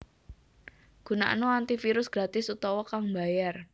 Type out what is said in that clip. Gunakna antivirus gratis utawa kang mbayar